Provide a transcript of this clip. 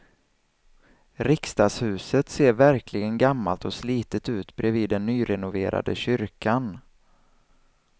Riksdagshuset ser verkligen gammalt och slitet ut bredvid den nyrenoverade kyrkan.